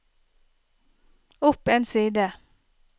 opp en side